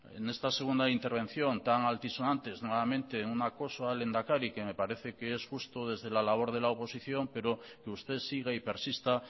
en esta segunda intervención tan altisonantes nuevamente un acoso al lehendakari que me parece que es justo desde la labora de la oposición pero que usted siga y persista